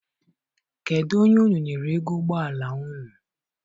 Kedụ onye unu nyere ego ụgbọala unu?